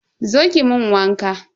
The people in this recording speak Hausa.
Zo ki mun waka.